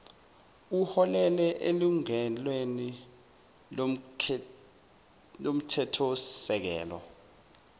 uholele elungelweni lomthethosisekelo